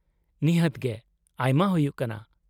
-ᱱᱤᱦᱟᱹᱛ ᱜᱮ, ᱟᱭᱢᱟ ᱦᱩᱭᱩᱜ ᱠᱟᱱᱟ ᱾